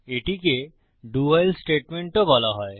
এটিকে do while statement ও বলা হয়